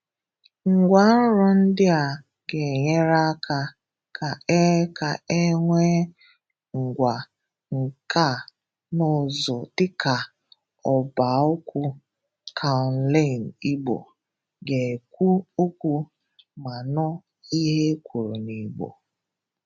Ngwàńrọ̀ ndị̀ a ga-enyerè aka ka e ka e nweè ngwa nka na ụzụ̀ dị̀ka ọ̀bàokwu keò̱nlàị̀n Igbo ga-ekwù okwu ma nụ̀ ihe e kwurù n'Igbo.